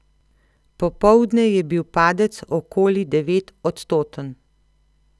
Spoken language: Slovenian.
Popoldne je bil padec okoli devetodstoten.